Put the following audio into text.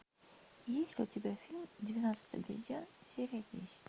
есть у тебя фильм двенадцать обезьян серия десять